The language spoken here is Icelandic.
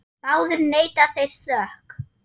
Báðir neita þeir sök.